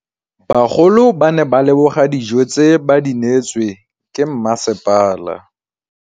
Bagolo ba ne ba leboga dijô tse ba do neêtswe ke masepala.